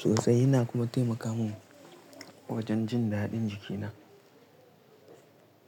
sosai. Yana kuma taimaka mun wajen jin daɗin jikina.